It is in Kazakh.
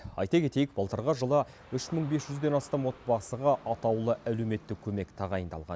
айта кетейік былтырғы жылы үш мың бес жүзден астам отбасыға атаулы әлеуметтік көмек тағайындалған